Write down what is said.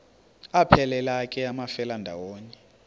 aphelela ke amafelandawonye